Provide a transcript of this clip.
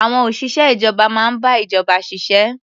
Àwon òṣìṣẹ́ ìjọba máa ń bá ìjọba ṣiṣẹ́.